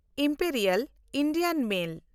Imperial Indian mail